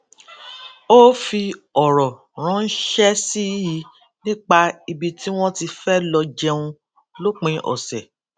ó fi òrò ránṣé sí i nípa ibi tí wón ti fé lọ jẹun lópin òsè